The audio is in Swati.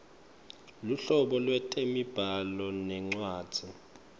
luhlobo lwetemibhalo nencwadzi